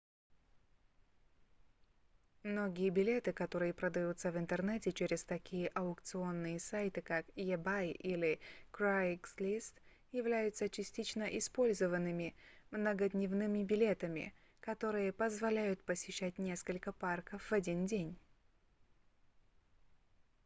многие билеты которые продаются в интернете через такие аукционные сайты как ebay или craigslist являются частично использованными многодневными билетами которые позволяют посещать несколько парков в один день